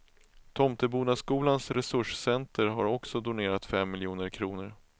Tomtebodaskolans resurscenter har också donerat fem miljoner kronor.